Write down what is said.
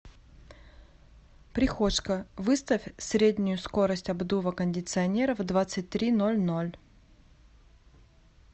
прихожка выставь среднюю скорость обдува кондиционера в двадцать три ноль ноль